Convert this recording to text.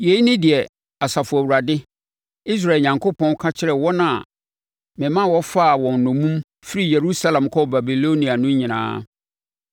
Yei ne deɛ Asafo Awurade, Israel Onyankopɔn, ka kyerɛ wɔn a mema wɔfaa wɔn nnommum firi Yerusalem kɔɔ Babilonia no nyinaa: